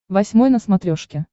восьмой на смотрешке